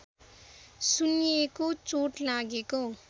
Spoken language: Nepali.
सुन्निएको चोट लागेको